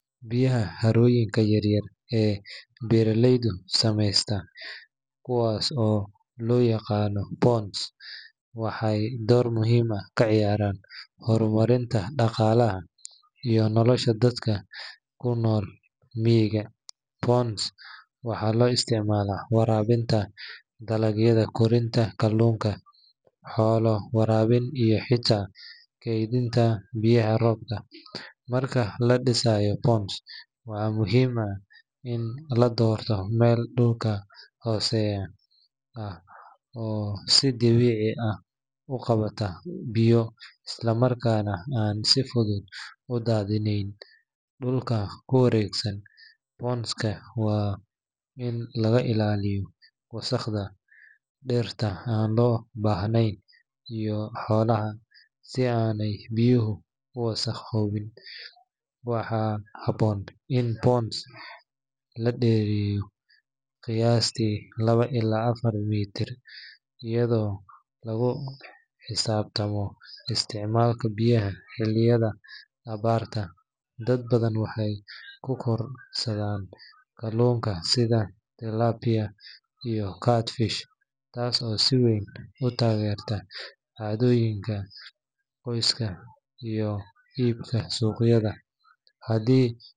Biyaha harooyinka yaryar ee beeraleyda sameystaan, kuwaas oo loo yaqaan ponds, waxay door muhiim ah ka ciyaaraan horumarinta dhaqaalaha iyo nolosha dadka ku nool miyiga. Ponds waxaa loo isticmaalaa waraabinta dalagyada, korinta kalluunka, xoolo waraabin iyo xitaa kaydinta biyaha roobka. Marka la dhisayo ponds, waa muhiim in la doorto meel dhulka hooseeya ah oo si dabiici ah u qabata biyo isla markaana aan si fudud u daadineyn. Dhulka ku wareegsan pond-ka waa in laga ilaaliyaa wasakhda, dhirta aan loo baahnayn iyo xoolaha si aanay biyuhu u wasakhobin. Waxaa habboon in ponds la dhereriyo qiyaastii laba ilaa afar mitir, iyadoo lagu xisaabtamo isticmaalka biyaha xilliyada abaarta. Dad badan waxay ku korodhsadaan kalluunka sida tilapia iyo catfish taas oo si weyn u taageerta cunnooyinka qoyska iyo iibka suuqyada. Haddii .